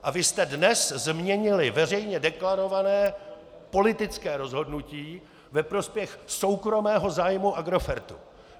A vy jste dnes změnili veřejně deklarované politické rozhodnutí ve prospěch soukromého zájmu Agrofertu.